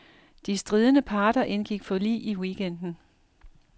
De stridende parter indgik forlig i weekenden.